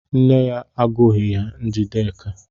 Nne ya agọghị ya Njideka.